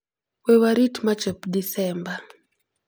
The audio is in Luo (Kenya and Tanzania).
We warit ma chop Desemba!